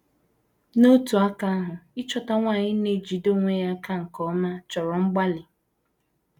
N’otu aka ahụ, ịchọta nwanyị na - ejide onwe ya nke ọma chọrọ mgbalị.